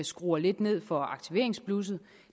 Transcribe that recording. skruer lidt ned for aktiveringsblusset